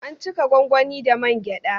An cika gwangwani da man gyaɗa.